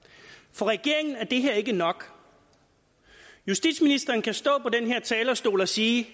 for regeringen er det her ikke nok justitsministeren kan stå på den her talerstol og sige